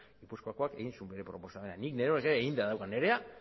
gipuzkoakoak egin zuen bere proposamena nik neronek ere eginda daukat nirea